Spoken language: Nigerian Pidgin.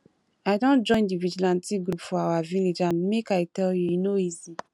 i don join the vigilante group for our village and make i tell you e no easy